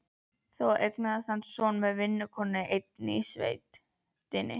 Þó eignaðist hann son með vinnukonu einni í sveitinni.